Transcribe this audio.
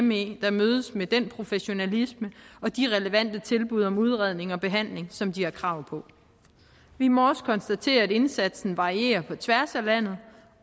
me der mødes med den professionalisme og de relevante tilbud om udredning og behandling som de har krav på vi må også konstatere at indsatsen varierer på tværs af landet